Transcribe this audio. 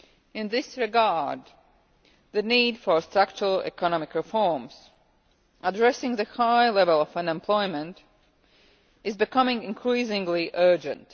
In this regard, the need for structural economic reforms, addressing the high level of unemployment, is becoming increasingly urgent.